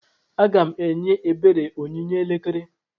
Aga m enye ebere onyinye elekere.